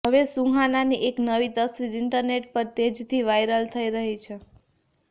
હવે સુહાનાની એક નવી તસવીર ઈન્ટરનેટ પર તેજીથી વાયરલ થઈ રહી છે